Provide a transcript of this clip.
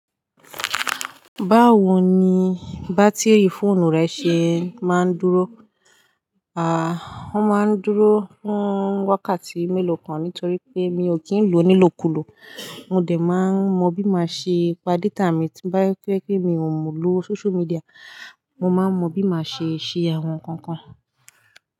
Báwo ni bátíìrì fóònù rẹ ṣe máa ń dúró? À, wọ́n máa ń dúró fún wákàtí mélòó kan nítorí pé mi ò kí ń lò ó nílò kulò. Mo dè máa mọ bí má ṣe pa data mi tí bá fẹ́ kí mi ò lò social media. Mo máa mọ bí má ṣe ṣe àwọn nǹkan kan.